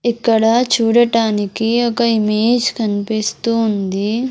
ఇక్కడ చూడటానికి ఒక ఇమేజ్ కన్పిస్తూ ఉంది.